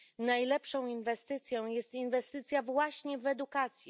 Najlepszą inwestycją jest inwestycja właśnie w edukację.